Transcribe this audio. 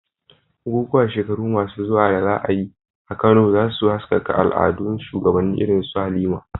Bukukuwan shekaru masu zuwa da za a yi a Kano, za su haskaka al'adun shugabanni irin su Halima.